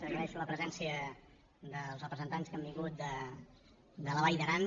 agraeixo la presència dels representants que han vingut de la vall d’aran